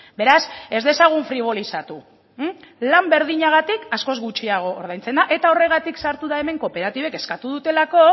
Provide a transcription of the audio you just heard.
beraz ez dezagun fribolizatu lan berdinagatik askoz gutxiago ordaintzen da eta horregatik sartu da hemen kooperatibek eskatu dutelako